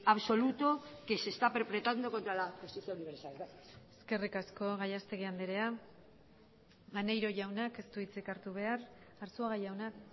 absoluto que se está perpetrando contra la justicia universal gracias eskerrik asko gallastegui andrea maneiro jaunak ez du hitzik hartu behar arzuaga jaunak